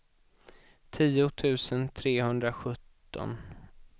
tio tusen trehundrasjutton